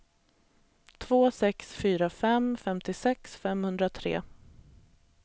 två sex fyra fem femtiosex femhundratre